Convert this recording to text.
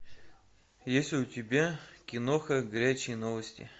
есть ли у тебя киноха горячие новости